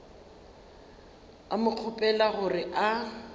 a mo kgopela gore a